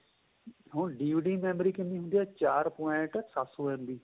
ਹੁਣ DVD ਦੀ memory ਕਿੰਨੀ ਹੁੰਦੀ ਏ ਚਾਰ point ਸੱਤ ਸੋ MB